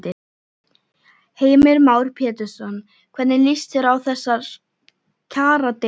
Heimir Már Pétursson: Hvernig lýst þér á þessar kjaradeilur?